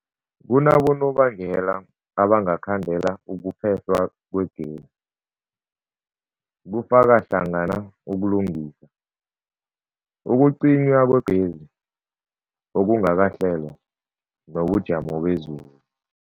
Kunabonobangela abangakhandela ukuphehlwa kwegezi, kufaka hlangana ukulungisa, ukucinywa kwegezi okungakahlelwa, nobujamo bezulu.